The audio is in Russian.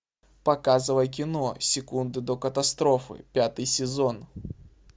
показывай кино секунды до катастрофы пятый сезон